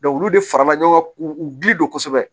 olu de farala ɲɔgɔn kan k'u gili don kosɛbɛ